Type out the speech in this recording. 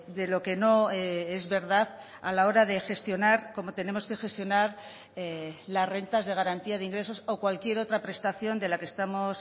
de lo que no es verdad a la hora de gestionar cómo tenemos que gestionar las rentas de garantía de ingresos o cualquier otra prestación de la que estamos